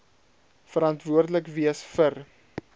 verantwoordelik wees vir